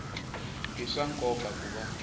i swa nkoka ku va